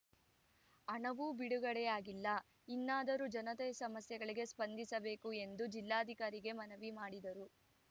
ಹಣವೂ ಬಿಡುಗಡೆಯಾಗಿಲ್ಲ ಇನ್ನಾದರೂ ಜನತೆ ಸಮಸ್ಯೆಗಳಿಗೆ ಸ್ಪಂದಿಸಬೇಕು ಎಂದು ಜಿಲ್ಲಾಧಿಕಾರಿಗೆ ಮನವಿ ಮಾಡಿದರು